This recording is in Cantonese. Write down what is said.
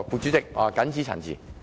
主席，我謹此陳辭。